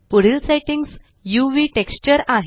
पुढील settings UV texture आहे